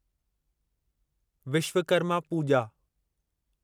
Vishwakarma Puja